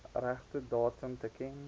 regte datum teken